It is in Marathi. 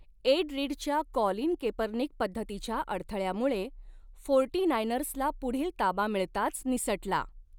एड रीडच्या कॉलिन केपर्निक पद्धतीच्या अडथळ्यामुळे फोर्टीनायनर्सला पुढील ताबा मिळताच निसटला.